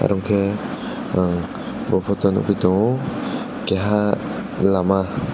omo ke ang bo photo nukgwi tongo keiha lama.